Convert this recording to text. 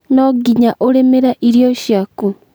nonginya ũrĩmĩre irio ciaku?